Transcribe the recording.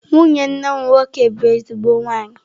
Nwunye nwanne m nwoke bu ezigbo nwanyi.